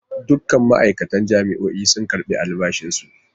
Dukkan ma'aikatan jami'o'in sun karbi albashi su.